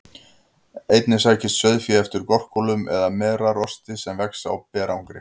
Einnig sækist sauðfé eftir gorkúlum eða merarosti sem vex á berangri.